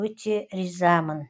өте ризамын